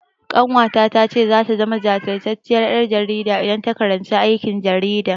Ƙanwata ta ce zata zama jajirtacciyar ƴar jarida idan ta karanci aikin jarida.